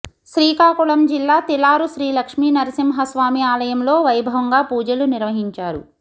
శ్రీకాకుళం జిల్లా తిలారు శ్రీలక్ష్మీ నరసింహస్వామి ఆలయంలో వైభవంగా పూజలు నిర్వహించారు